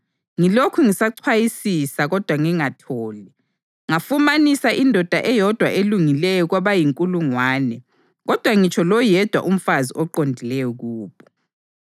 ngilokhu ngisachwayisisa kodwa ngingatholi ngafumanisa indoda eyodwa elungileyo kwabayinkulungwane, kodwa ngitsho loyedwa umfazi oqondileyo kubo.